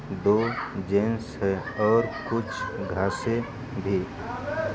दो जेंट्स है और कुछ घांसे भी --